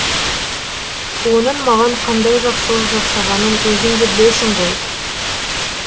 оның маған қандай жақсылық жасағанын өзің де білесің ғой